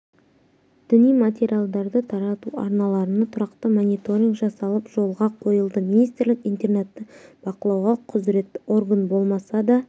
діни материалдарды тарату арналарына тұрақты мониторинг жасалып жолға қойылды министрлік интернетті бақылауға құзіретті орган болмаса да